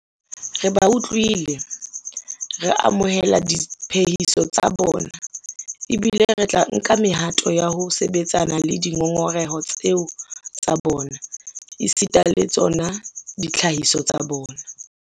Re ba utlwile, re amohela diphehiso tsa bona ebile re tla nka mehato ya ho sebetsana le dingongoreho tseo tsa bona esita le tsona ditlhahiso tsa bona.